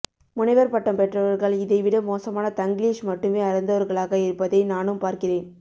முனைவர்பட்டம் பெற்றவர்கள் இதைவிட மோசமான தங்கிலீஷ் மட்டுமே அறிந்தவர்களாக இருப்பதை நானும் பார்க்கிறேன்